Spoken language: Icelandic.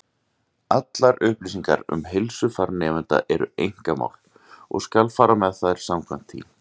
Allar upplýsingar um heilsufar nemenda eru einkamál, og skal fara með þær samkvæmt því.